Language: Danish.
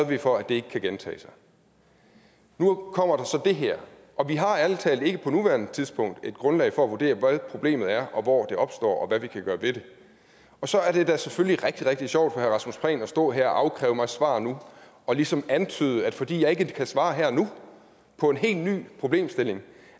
vi for ikke kan gentage sig nu kommer der så det her og vi har ærlig talt ikke på nuværende tidspunkt et grundlag for at vurdere hvad problemet er og hvor det opstår og hvad vi kan gøre ved det så er det da selvfølgelig rigtig rigtig sjovt rasmus prehn at stå her og afkræve mig svar nu og ligesom antyde at fordi jeg ikke kan svare her og nu på en helt ny problemstilling